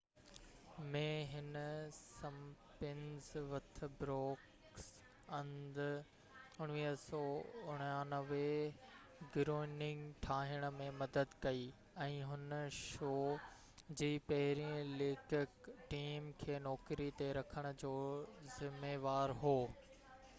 1989 ۾ هن Simpsons with Brooks and Groening ٺاهڻ ۾ مدد ڪئي ۽ هن شو جي پهريئن ليکڪ ٽيم کي نوڪري تي رکڻ جو ذميوار هو